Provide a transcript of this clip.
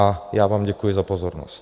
A já vám děkuji za pozornost.